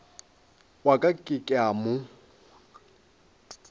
wa ka ke a mo